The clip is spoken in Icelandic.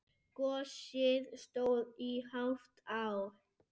Gosið stóð í hálft ár.